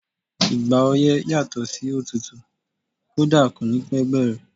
Ìgbà ọyẹ́ yàtò sí òtútù, kódà kò ní pẹ́ bẹ̀rẹ̀.